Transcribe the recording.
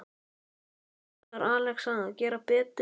Átti Rúnar Alex að gera betur?